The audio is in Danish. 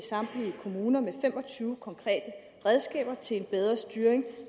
samtlige kommuner med fem og tyve konkrete redskaber til en bedre styring